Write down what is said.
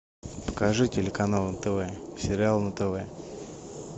покажи телеканал нтв сериал на тв